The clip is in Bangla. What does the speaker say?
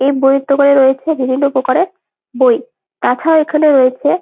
এই বইয়ের দোকানে রয়েছে বিভিন্ন প্রকারের বই তাছাড়াও এখানে রয়েছে--